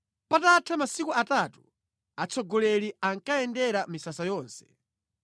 Patatha masiku atatu, atsogoleri anayendera misasa yonse,